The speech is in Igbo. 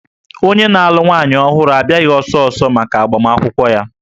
Onye na-alụ nwaanyị ọhụrụ abịaghị ọsọ ọsọ maka agbamakwụkwọ ya